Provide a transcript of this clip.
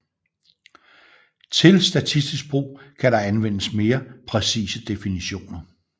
Til statistisk brug kan der anvendes mere præcise definitioner